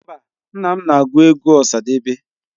Mba, nna m na-ege egwu Osadebe.